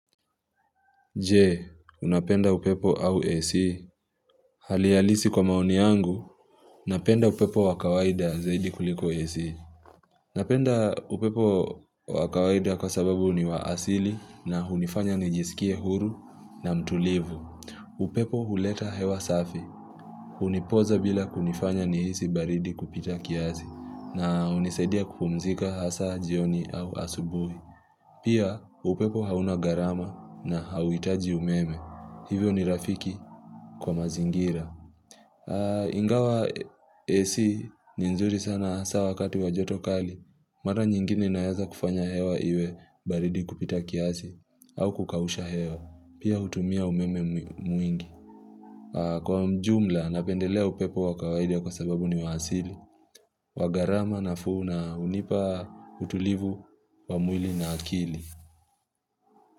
Je, unapenda upepo au AC? Hali halisi kwa maoni yangu, napenda upepo wa kawaida zaidi kuliko AC. Napenda upepo wa kawaida kwa sababu ni wa asili na hunifanya nijisikie huru na mtulivu. Upepo huleta hewa safi. Hunipoza bila kunifanya nihisi baridi kupita kiasi na hunisaidia kupumzika hasa jioni au asubuhi. Pia upepo hauna gharama na hauhitaji umeme. Hivyo ni rafiki kwa mazingira Ingawa AC ni nzuri sana hasa wakati wa joto kali, mara nyingine inaeza kufanya hewa iwe baridi kupita kiasi au kukausha hewa. Pia hutumia umeme mwingi. Kwa ujumla napendelea upepo wa kawaidia kwa sababu ni wa asili wa gharama nafuu na hunipa utulivu wa mwili na akili.